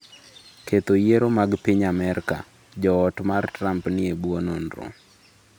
Ketho yiero mag piny Amerka: Jo ot mar Trump ni e bwo nonro